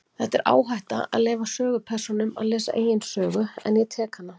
Þetta er áhætta, að leyfa sögupersónum að lesa eigin sögu, en ég tek hana.